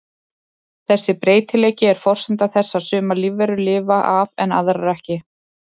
Þessi breytileiki er forsenda þess að sumar lífverur lifa af en aðrar ekki.